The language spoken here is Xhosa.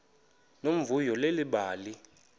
nomvuyo leli bali